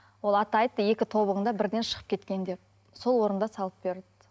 ол ата айтты екі тобығың да бірден шығып кеткен деп сол орында салып берді